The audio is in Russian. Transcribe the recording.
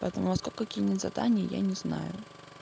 поэтому во сколько кинет задание я не знаю